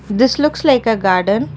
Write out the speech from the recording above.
this looks like a garden.